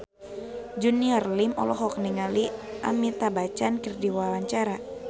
Junior Liem olohok ningali Amitabh Bachchan keur diwawancara